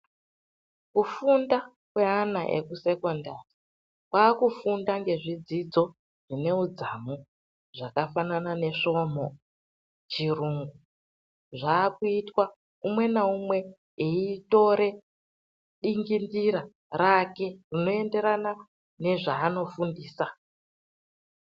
Kufunda kweana ekusekondari kwaakufunda ngezvidzidzo zvine udzamu zvakafanana nesvomhu, chirungu zvaakuitwa umwe naumwe eitore dingindira rake rinoenderana nezvaanofundisa.